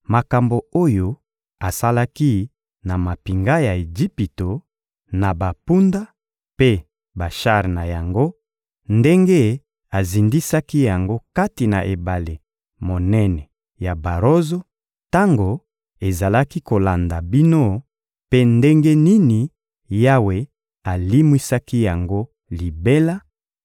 makambo oyo asalaki na mampinga ya Ejipito, na bampunda mpe bashar na yango, ndenge azindisaki yango kati na Ebale monene ya barozo, tango ezalaki kolanda bino, mpe ndenge nini Yawe alimwisaki yango libela;